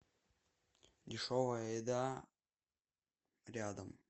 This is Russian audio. дешевая еда рядом